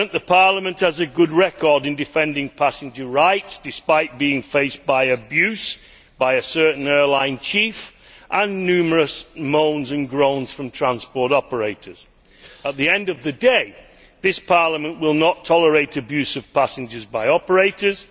Parliament has a good record in defending passenger rights, despite being faced by abuse by a certain airline chief and numerous moans and groans from transport operators. At the end of the day, Parliament will not tolerate abuse of passengers by operators